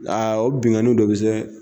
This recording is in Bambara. A o binkani de bɛ se